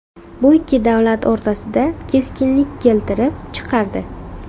Bu ikki davlat o‘rtasida keskinlik keltirib chiqardi.